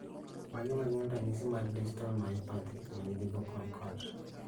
Mage magin ranyisi mag Distal myopathy manigi vocal cord